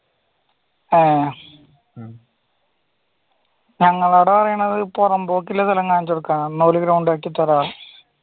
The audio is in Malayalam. ആ ഞങ്ങളോടാണെങ്കിൽ പൊറമ്പോക്ക് സ്ഥലം കാണിച്ചു തരാനാ പറയുന്നത് എന്നിട്ട് അവര് ground ആക്കി താരാന്ന്